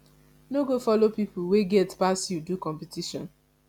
no go follow pipo wey get pass you do competition